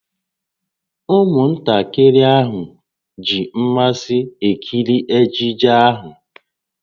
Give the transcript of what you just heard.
Ụmụntakịrị ahụ ji mmasị na-ekiri ejije ahụ